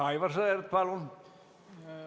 Aivar Sõerd, palun!